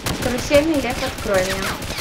карусельный лев открой мне